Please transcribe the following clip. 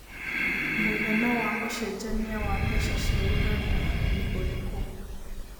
mũigana wa ũcejanĩa wa mbeca cia Uganda nĩ ũrikũ